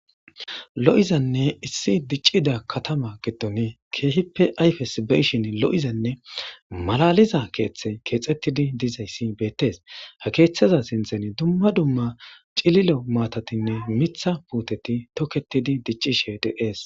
lo7izanne issi diccida katama giddon keehippe ayfes beshin lo7izanne malaliza keeththe keexettidi dizayssi beettes ha keeththeza sinthen dumma dumma cililo maatatinne mitha puuteti tokketidi diccishe dees